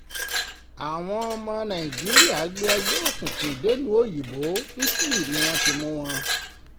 àwọn ọmọ nàìjíríà gbé ẹgbẹ́ òkùnkùn dèlùú òyìnbó italy ni wọ́n ti mú wọn